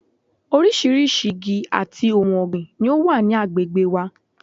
Orísirísi igi àti ohun ọ̀gbìn ni ó wà ní agbègbè wa